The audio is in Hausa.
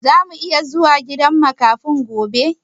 Zamu iya zuwa gidan makafin gobe?